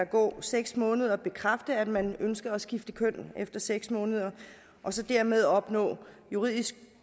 gå seks måneder bekræfte at man ønsker at skifte køn efter seks måneder og så dermed opnå juridisk